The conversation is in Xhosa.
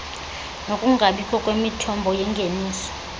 nokungabikho kwemithombo yengeniso